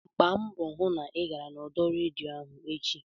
Gbaa mbọ hụ na ị gara n'ọdọ redio ahụ echi!